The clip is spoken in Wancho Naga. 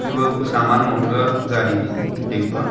thebaw kau saman lo theta gari dingpa.